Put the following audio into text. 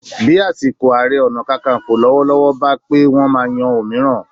Bí àsìkò Ààrẹ Ọ̀nà Kakaǹfò lọ́wọ́lọ́wọ́ bá pé, wọ́n máa yan òmíràn